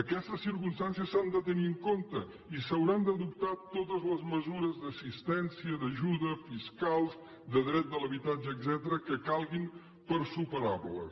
aquestes circumstàncies s’han de tenir en compte i s’hauran d’adoptar totes les mesures d’assistència d’ajuda fiscals de dret de l’habitatge etcètera que calguin per superar les